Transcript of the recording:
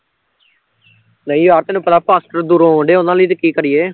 ਨਹੀਂ ਯਾਰ ਤੈਨੂੰ ਪਤਾ ਫਾਸਟਰ ਦੂਰੋਂ ਆਉਣ ਡਏ ਉਹਨਾਂ ਲਈ ਤੇ ਕੀ ਕਰੀਏ